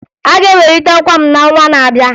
Aga ewelite ọkwa m n'ọnwa na-abịa